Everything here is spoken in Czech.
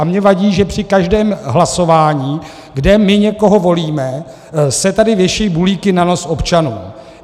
A mě vadí, že při každém hlasování, kde my někoho volíme, se tady věší bulíky na nos občanů.